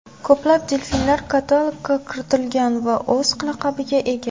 Ko‘plab delfinlar katalogga kiritilgan va o‘z laqabiga ega.